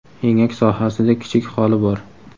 Engak sohasida kichik xoli bor.